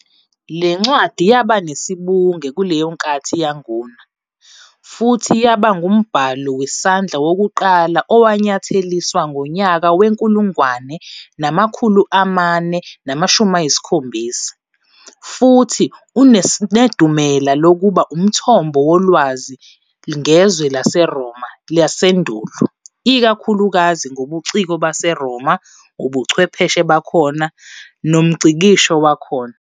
Lencwadi yaba nesibunge kuleyo nkathi yanguna, futhi yaba ngumbhalo wesandla wokuqala owanyatheliswa ngonyaka we-1470, futhi usanedumela lokuba umthombo wolwazi ngezwe laseRoma lasendulo, ikakhulukazi ngobuciko baseRoma, ubuchwepheshe bakhona nomngcikisho wakhona.